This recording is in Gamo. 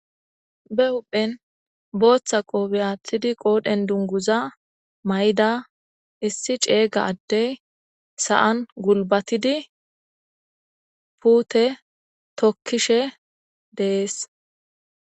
Bee huphphenni boththa qofe aththidi qodhdhenni duniguza mayidda issi cega adeyi sa'anni gullibatid pute tokishshe de'ees.